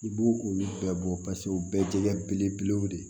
I b'u olu bɛɛ bɔ paseke u bɛɛ ye jɛgɛ belebelew de ye